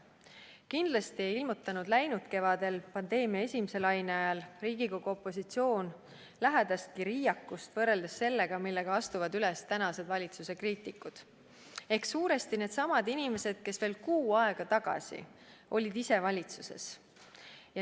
Kindlasti ei ilmutanud läinud kevadel pandeemia esimese laine ajal Riigikogu opositsioon ligilähedastki riiakust võrreldes sellega, millega astuvad üles tänased valitsuse kriitikud ehk suuresti needsamad inimesed, kes veel kuu aega tagasi olid ise valitsuses.